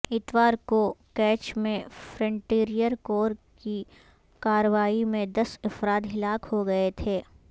اتوار کو کیچ میں فرنٹیئر کور کی کارروائی میں دس افراد ہلاک ہوگئے تھے